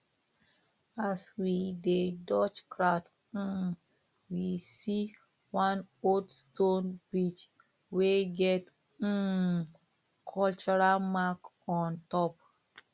as we dey dodge crowd um we see one old stone bridge wey get um cultural mark on top